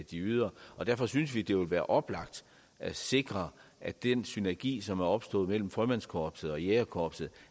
de yder derfor synes vi det ville være oplagt at sikre at den synergi som er opstået mellem frømandskorpset og jægerkorpset